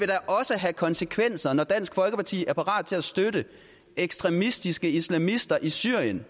da også have konsekvenser når dansk folkeparti er parat til at støtte ekstremistiske islamister i syrien